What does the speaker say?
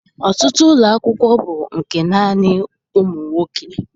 Ọtụtụ ụlọakwụkwọ bụ nke naanị ụmụ nwoke